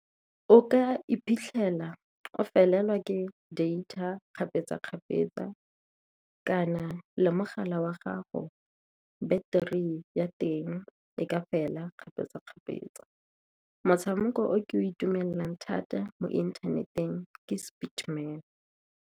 O ka iphitlhela o felelwa ke data kgapetsa-kgapetsa, kana le mogala wa gago battery ya teng e ka fela kgapetsa-kgapetsa. Motshameko o ke o itumelela thata mo inthaneteng ke .